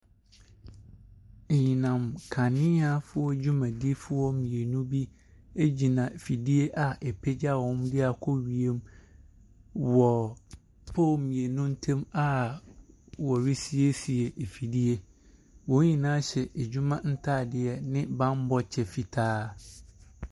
Anyinam nkaneafoɔ dwumadifoɔ mmienu bi gyina afidie a ɛrepa wɔn akɔ wiem mu wɔ poll mmienu ntam a wɔresiesei afidie. Wɔn nyinaa hyɛ adwuma ntadeɛ ne bammɛ kyɛ fitaa.